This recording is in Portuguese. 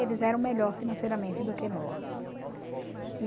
Eles eram melhor financeiramente do que nós.